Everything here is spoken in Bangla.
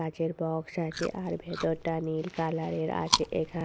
কাঁচের বক্স আছে আর ভেতরটা নীল কালার এর আছে. এখা--